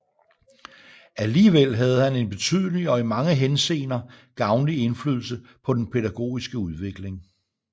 Alligevel havde han en betydelig og i mange henseender gavnlig indflydelse på den pædagogiske udvikling